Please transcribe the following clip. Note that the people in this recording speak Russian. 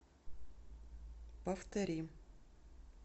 повтори